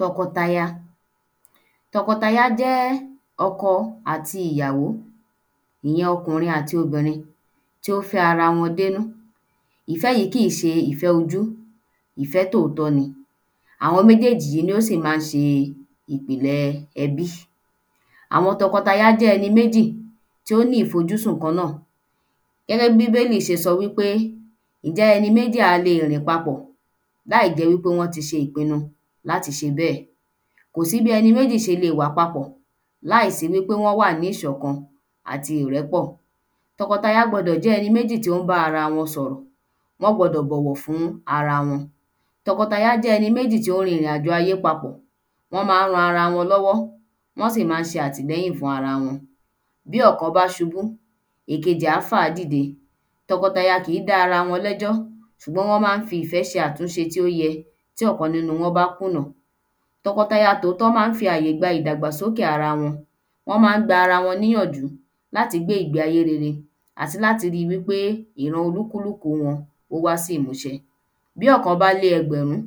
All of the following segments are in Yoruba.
Tọkọtaya jẹ́ Tọkọtaya jẹ́ ọkọ àti ìyàwó ìyẹn okùnrin àti obìnrin tí ó fẹ́ ara wọn dénú ìfẹ́ yí kìí ṣe ìfẹ́ ojú ìfẹ́ tóòtọ́ ni àwọn méjéèjì yí ní ó sì ma ń ṣe ìpìlẹ ẹbí àwọn tọkọtaya jẹ́ ẹni méjì tí ó ní ìfuojúsùn kan náà gẹ́gẹ́ bí bíbélì ṣe sọ wí pé ìnjẹ́ ẹni méjì a le rìn papọ̀ láìjẹ́ wí pé wọ́n ti ṣe ìpinu láti ṣe bẹ́ẹ̀ kò sí bí ẹni méjì ṣe le wà papọ̀ láìsí wí pé wọ́n wà ní ìṣọ̀kan àti ìrẹ́pọ̀ tọkọtaya gbọdọ̀ jẹ́ ẹni méjì tó ń bá ara wọn sọ̀rọ̀ wọ́n gbọdọ̀ bọ̀wọ̀ fún ara wọn tọkọtaya gbọdọ̀ jẹ́ ẹni méjì tó ń rin ìrìn àjò ayé papọ̀ wọ́n má ń ran ara wọn lọ́wọ́ wọ́n sì má ń ṣe àtìlẹ́yìn fún ara wọn bí ọ̀kan bá ṣubú ẹ̀kejì á fàá dìde tọkọtaya kìí dá ara wọn lẹ́jọ́ ṣùgbọ́n wọ́n má ń fi ìfẹ́ ṣe àtúnṣe tí ó yẹ tí ọ̀kan nínú wọn bá kùnà tọkọtaya tòótọ́ má ń fi ayé gba ìdàgbàsókè ara wọn wọ́n má ń gba ara wọn níyànjú láti gbé ìgbé ayé rere àti láti ri wí pé ìran olúkúlúkù wọn ó wá sí ìmúṣẹ bí ọ̀kan bá lé ẹgbẹ̀run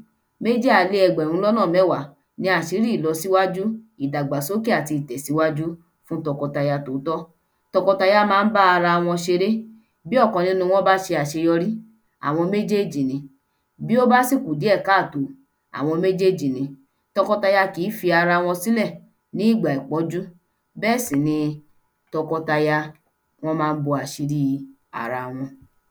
méjì á lé ẹgbẹ̀run mẹ́wá ni àṣírí ìlọsíwájú ìdàgbàsókè àti itẹ̀síwájú fún tọkọtaya tòótọ́ tọkọtaya má ń bá ara wọn ṣeré bí ọkan nínú wọn bá ṣe àṣeyọrí àwọn méjèjì ni bí ó bá sí kù díẹ̀ káàtó àwọn méjèjì ni tọkọtaya kìí fi ara wọn sílẹ̀ ní ìgbà ìpọ́njú bẹ́ẹ̀ sì ni tọkọtaya wọ́n má ń bo àṣírí ara wọn